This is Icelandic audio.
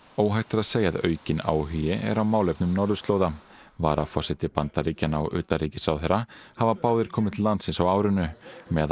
óhætt er að segja að aukinn áhugi er á málefnum norðurslóða varaforseti Bandaríkjanna og utanríkisráðherrann hafa báðir komið til landsins á árinu meðal